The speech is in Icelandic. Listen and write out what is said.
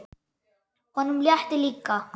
Honum létti líka.